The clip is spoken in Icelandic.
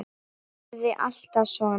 Yrði alltaf svona.